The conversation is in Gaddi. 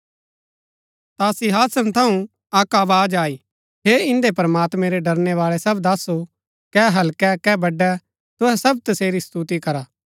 ता सिंहासन थऊँ अक्क आवाज आई हे इन्दै प्रमात्मैं रै ड़रणै बाळै सब दासो कै हल्कै कै बड़ै तुहै सब तसेरी स्तुति करा